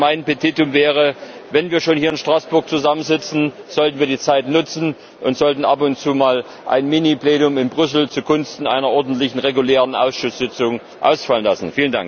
Mein Petitum wäre Wenn wir schon hier in Straßburg zusammensitzen, sollten wir die Zeit nutzen und ab und zu mal ein Mini Plenum in Brüssel zugunsten einer ordentlichen regulären Ausschusssitzung ausfallen lassen.